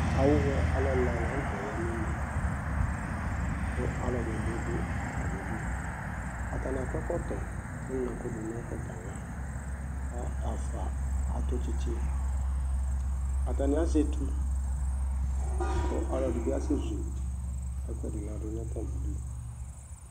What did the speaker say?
Awʊwɛ alʊ ɛla la nʊtɛ ya nʊ une Kʊ alʊ ɛdɩnɩ bɩ dʊ atami udu Atani akɔ ɛkɔtɔ ƙʊ eŋlo ɛkʊ dʊ nʊ ɛkɔtɔ ava Kʊ ɛfwa atʊ tsitsi Atani azɛ etu Kʊ ɔlɔdibi asɛ zu ɛkʊ ɛdi ladʊ nʊ atami udu